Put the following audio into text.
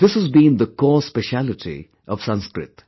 This has been the core speciality of Sanskrit